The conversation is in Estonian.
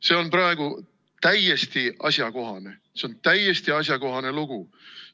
See on praegu täiesti asjakohane, see on täiesti asjakohane lugu.